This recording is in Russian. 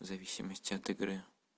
зависимости от игры